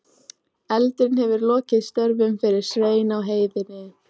Eldurinn hefur lokið störfum fyrir Svein á heiðinni.